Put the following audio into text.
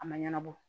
A ma ɲɛnabɔ